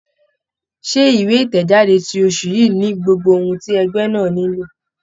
Ṣé ìwé ìtẹ̀jáde ti oṣù yìí ni gbogbo ohun ti ẹgbẹ́ náà nílò?